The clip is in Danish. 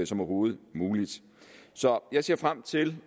som overhovedet muligt så jeg ser frem til